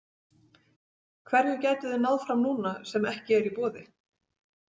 Hverju gætuð þið náð fram núna sem ekki er í boði?